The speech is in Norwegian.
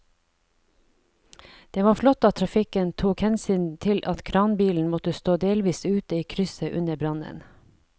Det var flott at trafikken tok hensyn til at kranbilen måtte stå delvis ute i krysset under brannen.